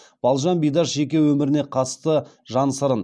балжан бидаш жеке өміріне қатысты жан сырын